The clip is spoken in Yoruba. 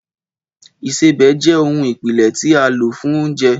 Ìsebẹ̀ jẹ́ ohun ìpìlẹ̀ tí a lò fún oúnjẹ